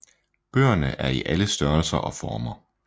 Bøgerne er i alle størrelser og former